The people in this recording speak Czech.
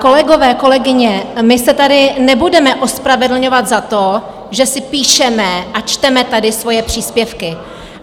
Kolegové, kolegyně, my se tady nebudeme ospravedlňovat za to, že si píšeme a čteme tady svoje příspěvky.